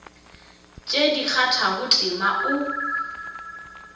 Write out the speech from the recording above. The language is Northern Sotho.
tše di kgathago tema o